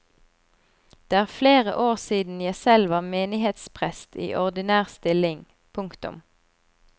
Det er flere år siden jeg selv var menighetsprest i ordinær stilling. punktum